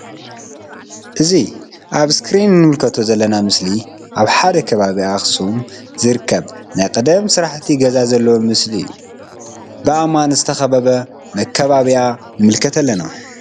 እዚ አብ እስክሪን እንምልከቶ ዘለና ምስሊ አብ ከባቢ ከተማ አክሱም ዝርከብ ናይ ቀደም ስራሕቲ ገዛ ዘለዎ ምስሊ እዩ ብ አእማን ዝተከበበ መካበብያ ንምልከት አለና::